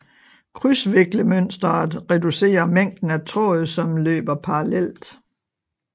Krydsviklemønsteret reducerer mængden af tråd som løber parallelt